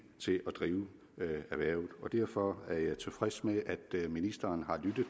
til at drive erhvervet og derfor er jeg tilfreds med at ministeren har lyttet